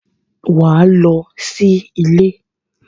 Wà á lọ sí ilé!